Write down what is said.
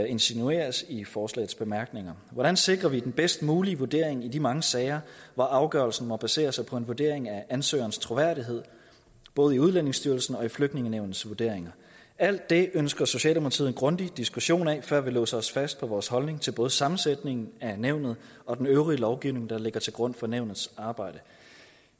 insinueres i forslagets bemærkninger hvordan sikrer vi den bedst mulige vurdering i de mange sager hvor afgørelsen må basere sig på en vurdering af ansøgerens troværdighed både i udlændingestyrelsens og flygtningenævnets vurderinger alt det ønsker socialdemokratiet en grundig diskussion af før vi låser os fast på vores holdning til både sammensætningen af nævnet og den øvrige lovgivning der ligger til grund for nævnets arbejde